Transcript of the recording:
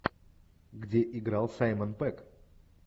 где играл саймон пегг